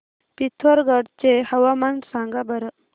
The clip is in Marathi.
पिथोरगढ चे हवामान सांगा बरं